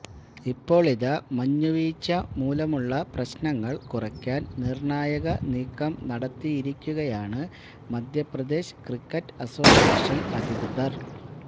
ഇപ്പോളിതാ മഞ്ഞുവീഴ്ച മൂലമുള്ളപ്രശ്നങ്ങൾ കുറയ്ക്കാൻ നിർണായക നീക്കം നടത്തിയിരിക്കുകയാണ് മധ്യപ്രദേശ് ക്രിക്കറ്റ് അസോസിയേഷൻ അധികൃതർ